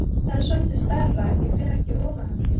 Það er svolítið stærra, ég fer ekki ofan af því!